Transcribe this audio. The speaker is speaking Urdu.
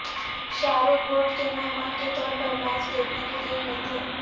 شاہ رخ بورڈ کے مہمان کے طور پر میچ دیکھنے کے لیے گئے تھے